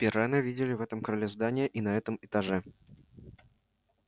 пиренна видели в этом крыле здания и на этом этаже